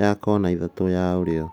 ya kona ithatũ ya ũrĩo